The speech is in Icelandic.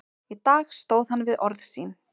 Í dag stóð hann við orð sín.